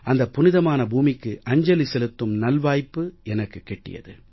அந்த புனிதமான பூமிக்கு அஞ்சலி செலுத்தும் நல்வாய்ப்பு எனக்குக் கிட்டியது